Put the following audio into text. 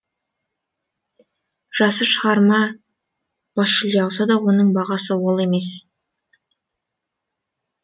жақсы шығарма бас жүлде алса да оның бағасы ол емес